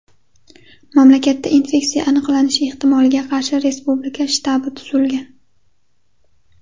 Mamlakatda infeksiya aniqlanishi ehtimoliga qarshi respublika shtabi tuzilgan.